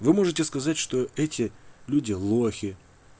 вы можете сказать что эти люди лохи